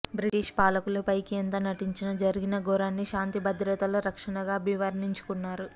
British పాలకులు పైకి ఎంత నటించినా జరిగిన ఘోరాన్ని శాంతిభద్రతల రక్షణగా అభివర్ణించుకున్నారు